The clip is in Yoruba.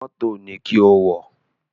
Mọ́tò ni kí o wọ̀!